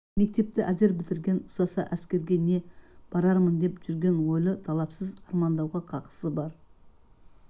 мектепті әзер бітірген ұзаса әскерге не барармын деп жүрген ойлы талапсыз армандауға хақысы бар